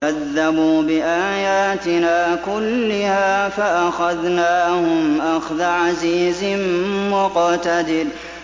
كَذَّبُوا بِآيَاتِنَا كُلِّهَا فَأَخَذْنَاهُمْ أَخْذَ عَزِيزٍ مُّقْتَدِرٍ